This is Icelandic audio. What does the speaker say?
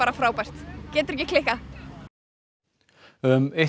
frábært getur ekki klikkað um eitt